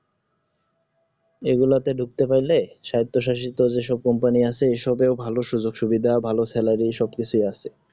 এই গুলাতে ঢুকতে পারলে সাজ প্রশাসিত যে সব company আছে এই সবে ভালো সুযোগ সুবিধা ভালো salary সবকিছুই আছে